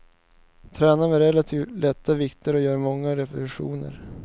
Tränar med relativt lätta vikter och gör många repetitioner.